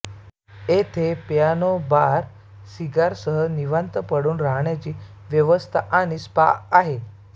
येथे piano bar cigar सह निवांत पडून रहाण्याची व्यवस्था आणि स्पा आहे